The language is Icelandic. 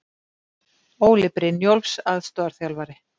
Óli Brynjólfs aðstoðarþjálfari.